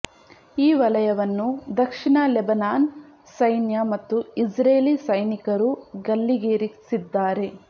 ಈ ವಲಯವನ್ನು ದಕ್ಷಿಣ ಲೆಬನಾನ್ ಸೈನ್ಯ ಮತ್ತು ಇಸ್ರೇಲಿ ಸೈನಿಕರು ಗಲ್ಲಿಗೇರಿಸಿದ್ದಾರೆ